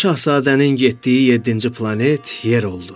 Balaca Şahzadənin getdiyi yeddinci planet Yer oldu.